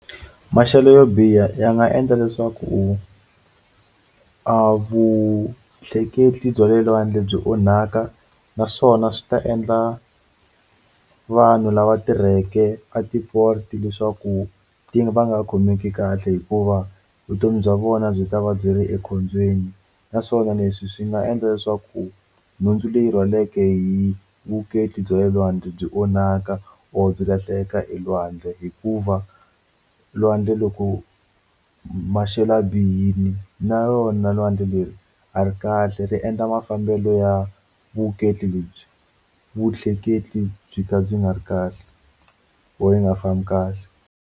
Maxelo yo biha ya nga endla leswaku a vutleketli bya le lwandle byi onhaka naswona swi ta endla vanhu lava tirheke a ti leswaku va nga khomeki kahle hikuva vutomi bya vona byi ta va byi ri ekhombyeni naswona leswi swi nga endla leswaku nhundzu leyi rhwaleke hi vutleketli bya le lwandle byi onhaka or byi lahleka elwandle hikuva lwandle loko maxelo ya bihile na yona lwandle leri a ri kahle ri endla mafambelo ya vutleketli lebyi vutleketli byi ka byi nga ri kahle or yi nga fambi kahle.